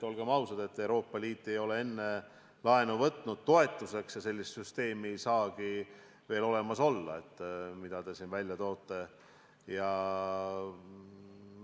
Olgem ausad, Euroopa Liit ei ole enne toetuste maksmiseks laenu võtnud ja sellist süsteemi, mida te siin välja toote, ei saagi veel olemas olla.